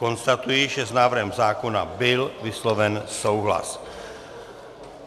Konstatuji, že s návrhem zákona byl vysloven souhlas.